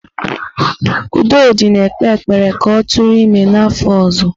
Udodi na-ekpe ekpere ka ọ tụrụ ime n'afọ ọzọ.